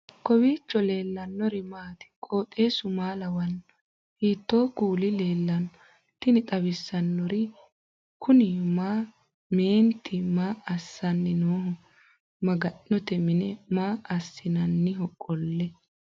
kowiicho leellannori maati ? qooxeessu maa lawaanno ? hiitoo kuuli leellanno ? tini xawissannori kuni mayi mineeti maa assinanniho maga'note mini maa assinanniho qolle